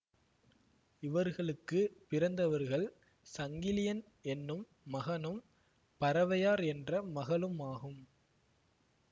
இவர்களுக்கு பிறந்தவர்கள் சங்கிலியன் என்னும் மகனும் பரவையார் என்ற மகளுமாகும்